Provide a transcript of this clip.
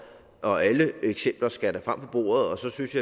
og alle eksempler skal frem på bordet og så synes